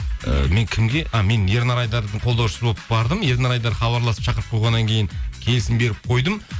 ыыы мен кімге а мен ернар айдардың қолдаушысы болып бардым ернар айдар хабарласып шақырып қойғаннан кейін келісім беріп қойдым